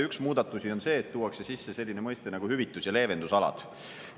Üks muudatusi on see, et tuuakse sisse selline mõiste nagu hüvitus‑ ja leevendusalad.